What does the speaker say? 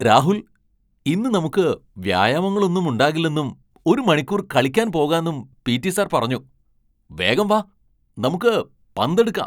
രാഹുൽ! ഇന്ന് നമുക്ക് വ്യായാമങ്ങളൊന്നും ഉണ്ടാകില്ലെന്നും ഒരു മണിക്കൂർ കളിക്കാൻ പോകാന്നും പീ.റ്റി. സർ പറഞ്ഞു! വേഗം വാ, നമുക്ക് പന്ത് എടുക്കാം!